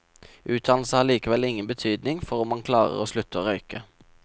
Utdannelse har likevel ingen betydning for om man klarer å slutte å røyke.